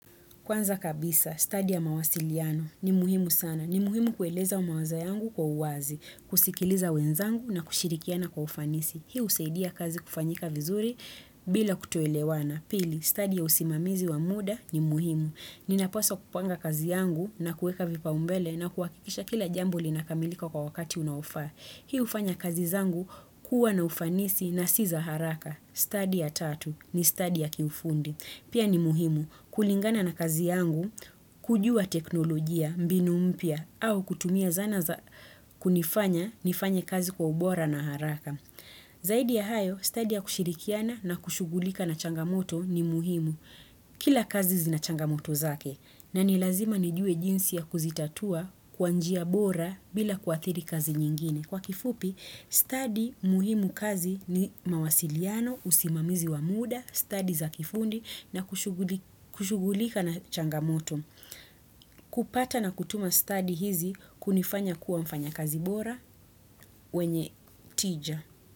Kwanza kabisa, stadi ya mawasiliano ni muhimu sana. Ni muhimu kueleza mawazo yangu kwa uwazi, kusikiliza wenzangu na kushirikiana kwa ufanisi. Hii husaidia kazi kufanyika vizuri bila kutuelewana. Pili, stadi ya usimamizi wa muda ni muhimu. Ninapaswa kupanga kazi yangu na kuweka vipao mbele na kuhakikisha kila jambo lina kamilika kwa wakati unaofaa. Hii hufanya kazi zangu kuwa na ufanisi na siza haraka. Stadi ya tatu ni stadi ya kiufundi. Pia ni muhimu kulingana na kazi yangu kujua teknolojia mbinu mpya au kutumia zana kunifanya nifanye kazi kwa ubora na haraka. Zaidi ya hayo, study ya kushirikiana na kushugulika na changamoto ni muhimu. Kila kazi zina changamoto zake na nilazima nijue jinsi ya kuzitatua kwanjia bora bila kuathiri kazi nyingine. Kwa kifupi, study muhimu kazi ni mawasiliano, usimamizi wa muda, study za kifundi na kushugulika na changamoto. Kupata na kutuma study hizi kunifanya kuwa mfanya kazi bora mwenye tija.